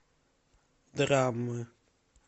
драмы